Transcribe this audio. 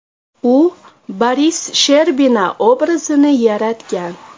U Boris Sherbina obrazini yaratgan.